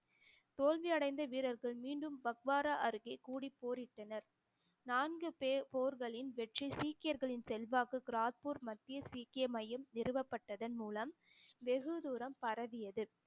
தோல்வி அடைந்த வீரர்கள் மீண்டும் பக்வாரா அருகே கூடி போரிட்டனர் நான்கு பேர் போர்களின் வெற்றி சீக்கியர்களின் செல்வாக்கு கிராத்பூர் மத்திய சீக்கிய மையம் நிறுவப்பட்டதன் மூலம் வெகு தூரம் பரவியது